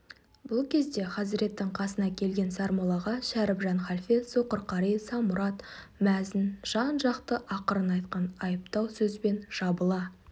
бұл кезде хазіреттің қасына келген сармоллаға шәрібжан халфе соқыр қари самұрат мәзін жан-жақтан ақырын айтқан айыптау сөзбен жабыла